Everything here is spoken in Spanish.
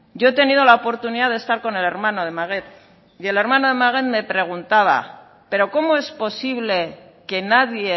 yo he tenido la oportunidad de estar con el hermano de maguette y el hermano de maguette me preguntaba pero cómo es posible que nadie